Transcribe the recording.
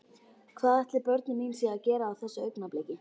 Hvað ætli börnin mín séu að gera á þessu augnabliki?